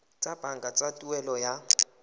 tsa banka tsa tuelo ya